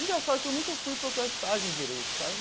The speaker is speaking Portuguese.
Engraçado que eu nunca fui procurar estágio em direito, sabe?